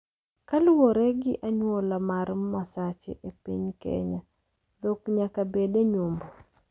Kaluwore gi anyuola mar Masache e piny Kenya, dhok nyaka bed e nyombo.